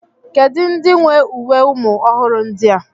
Kedu ndị nwe uwe ụmụ ọhụrụ ndi a?